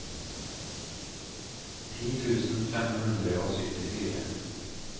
ti tusen fem hundre og syttifire